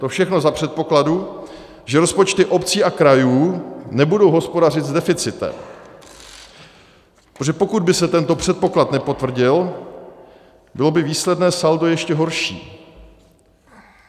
To všechno za předpokladu, že rozpočty obcí a krajů nebudou hospodařit s deficitem, protože pokud by se tento předpoklad nepotvrdil, bylo by výsledné saldo ještě horší.